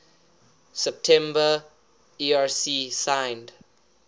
september erc signed